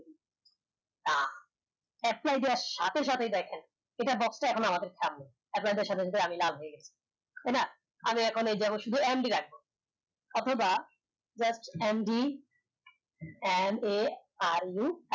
f five দেয়ার সাথে সাথে দেখেন এটার box টা আমাদের সামনে তাই না আমি এখন এই যে শুধু MD রাখলাম অথবা just MD M A R U